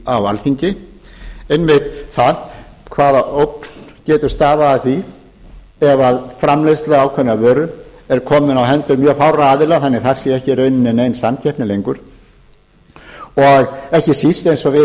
á alþingi einmitt það hvaða ógn getur stafað af því að framleiðsla ákveðinnar vöru er komin í hendur mjög fárra aðila þannig að það sé ekki í rauninni nein samkeppni lengur og ekki síst eins og við